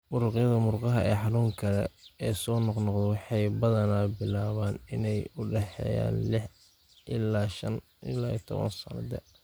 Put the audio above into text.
Muruqyada murqaha ee xanuunka leh ee soo noqnoqda waxay badanaa bilaabaan inta u dhaxaysa lix ilaa shaan iyo tobnaad da'da.